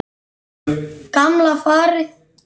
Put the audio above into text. Gamla farið.